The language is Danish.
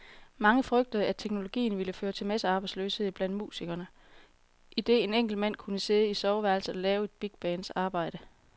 Mange frygtede, at teknologien ville føre til massearbejdsløshed blandt musikere, idet en enkelt mand kunne sidde i soveværelset og lave et bigbands arbejde.